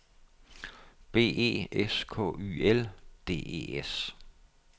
B E S K Y L D E S